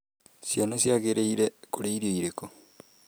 Ciana ciagĩrĩire kũrĩa irio irĩkũ?